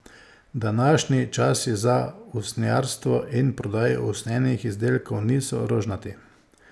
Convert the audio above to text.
Današnji časi za usnjarstvo in prodajo usnjenih izdelkov niso rožnati.